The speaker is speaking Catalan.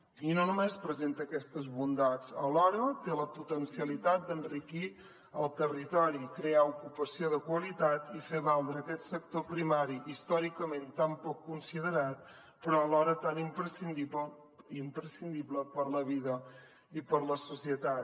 i no només presenta aquestes bondats alhora té la potencialitat d’enriquir el territori crear ocupació de qualitat i fer valdre aquest sector primari històricament tan poc considerat però alhora tan imprescindible per a la vida i per a la societat